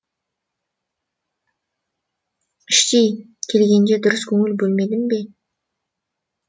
іштей келгенінде дұрыс көңіл бөлмедім бе